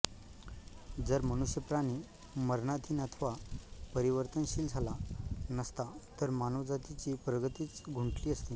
जर मनुष्यप्राणी मरणाधीन अथवा परिवर्तनशील झाला नसता तर मानवजातीची प्रगतीच खुंटलीअसती